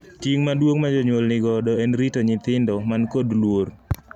Ting’ maduong’ ma jonyuol ni godo en rito nyithindo man kod luor.